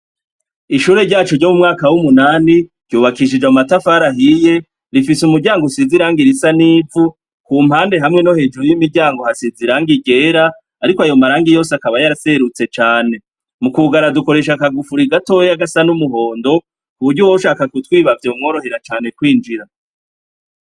Ishure ryacu ryo mu mwaka w'umunani ryubakishije amatafarahiye rifise umuryango usiziranga irisa n'ivu ku mpande hamwe no hejuru y'imiryango hasiziranga igera, ariko ayo maranga yose akaba yaraserutse cane mu kugara dukoresha akagufura igatoy' agasa n'umuhondo ku buryo woshaka kutwibavyo mworohera cane kwinjira.